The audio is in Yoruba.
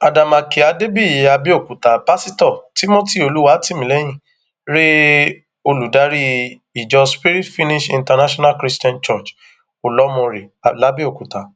àdèmàkè adébíyì àbẹòkúta pásítọ timothy olùwátìmílẹyìn rèé olùdarí ìjọ spirit finished international christian church olọmọọre làbẹọkúta